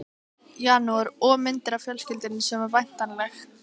janúar, og myndir af fjölskyldunni sem var væntanleg.